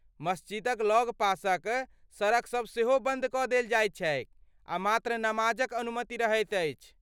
मस्जिदक लगपासक सड़कसब सेहो बन्द कऽ देल जाइत छैक आ मात्र नमाजक अनुमति रहैत अछि।